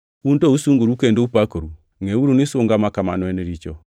Un to usungoru kendo upakoru! Ngʼeuru ni sunga ma kamano en richo.